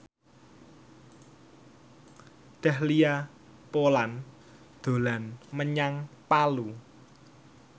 Dahlia Poland dolan menyang Palu